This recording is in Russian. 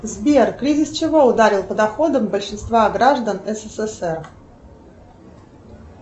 сбер кризис чего ударил по доходам большинства граждан ссср